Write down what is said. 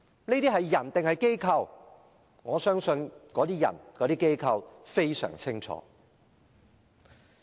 哪些人和機構在做這些事情，我相信他們自己非常清楚。